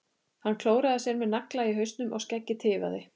Hann klóraði sér með nagla í hausnum og skeggið tifaði.